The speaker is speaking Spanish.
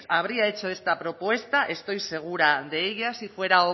habría hecho esta propuesta estoy segura de ella si fuera